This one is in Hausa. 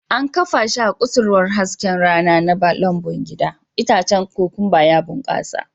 An kafa shi a kusurwar hasken rana na lambun bayan gida, itacen kokwamba ya bunƙasa